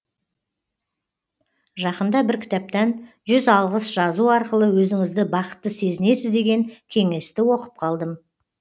жақында бір кітаптан жүз алғыс жазу арқылы өзіңізді бақытты сезінесіз деген кеңесті оқып қалдым